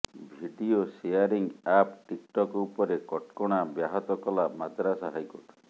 video sharing app TikTok ଉପରେ କଟକଣା ବ୍ୟାହତ କଲା ମାଦ୍ରାସ ହାଇକୋର୍ଟ